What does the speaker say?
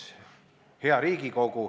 Hea Riigikogu!